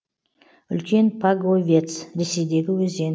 үлкен паговец ресейдегі өзен